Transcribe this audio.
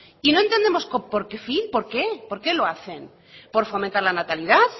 y no entendemos con qué fin por qué por qué lo hacen por fomentar la natalidad